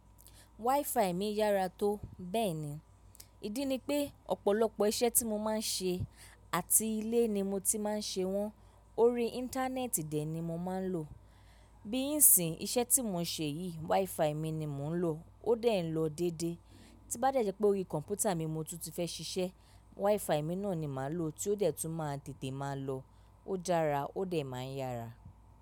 WiFi mi yára tó, bẹ́ẹ̀ ni. Ídí ni pé ọ̀pọ̀lọpọ̀ iṣẹ́ tí mo máa ń ṣe àti ilé ni mo ti máa ń ṣe wọ́n, orí Íńtánẹ́ẹ̀tì dè ni mo máa ń lò. Bí ìsin, iṣẹ́ tí mò ń ṣe yìí, WiFi mi ni mò ń lò, ó dẹ̀ lọ dédé. Tí n bá dẹ́ jẹ́ pé orí kọ̀m̀pútà mi ni mo tún ti fẹ́ ṣiṣẹ́, WiFi mi náà ni màá lò tí ó dẹ̀ tún máa tètè máa lọ, ó dára, ó dẹ̀ ma ń yára.